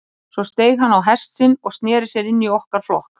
Og svo steig hann á hest sinn og sneri sér inn í okkar flokk.